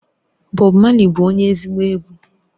Bob Marley bu onye ezigbo egwu